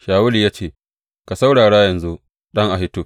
Shawulu ya ce, Ka saurara yanzu, ɗan Ahitub.